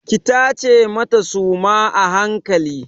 Ki tace mata suma a hankali!